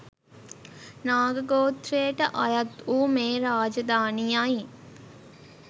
නාග ගෝත්‍රයට අයත් වූ මේ රාජධානියයි